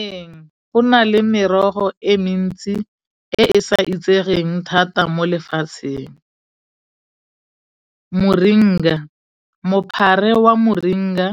Ee, go na le merogo e mentsi e e sa itsegeng thata mo lefatsheng. Moringa mophare wa moringa,